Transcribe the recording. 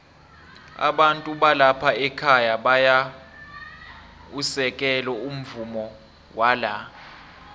abantu balapha ekhaya bayau u sekelo umvumowala